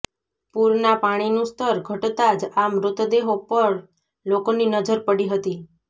પૂરના પાણીનું સ્તર ઘટતા જ આ મૃતદેહો પર લોકોની નજર પડી હતી